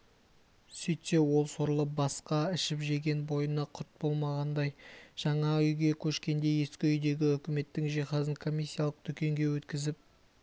сөйтсе ол сорлы басқа ішіп-жеген бойына құт болмағандай жаңа үйге көшкенде ескі үйдегі үкіметтің жиһазын комиссиялық дүкенге өткізіп